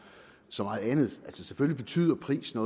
så meget andet selvfølgelig betyder prisen